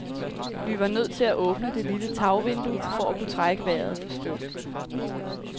Vi var nødt til at åbne det lille tagvindue for at kunne trække vejret for støv.